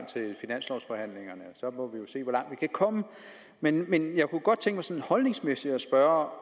til finanslovforhandlingerne så må vi jo se hvor langt vi kan komme men men jeg kunne godt tænke mig sådan holdningsmæssigt at spørge